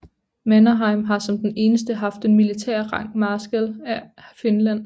Mannerheim har som den eneste haft den militære rang marskal af Finland